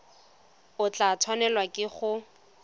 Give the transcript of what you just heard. o tla tshwanelwa ke go